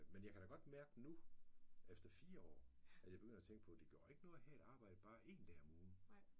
Men jeg kan da godt mærke nu efter 4 år at jeg begynder at tænke på det gør ikke noget have et arbejde bare én dag om ugen